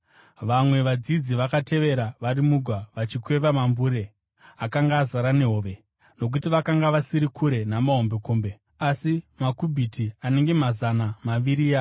Vamwe vadzidzi vakatevera vari mugwa, vachikweva mambure akanga azara nehove, nokuti vakanga vasiri kure namahombekombe, asi makubhiti anenge mazana maviri .